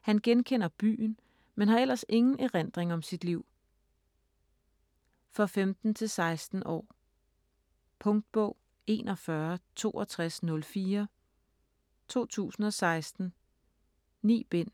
Han genkender byen, men har ellers ingen erindring om sit liv. For 15-16 år. Punktbog 416204 2016. 9 bind.